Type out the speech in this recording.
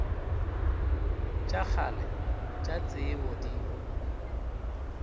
tša kgale tša tsebo di